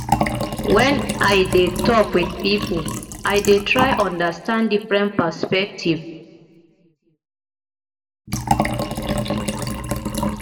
wen i dey tok wit pipo i dey try understand different perspective